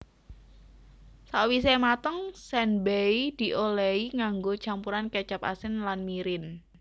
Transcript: Sawise mateng senbei diolesi nganggo campuran kecap asin lan mirin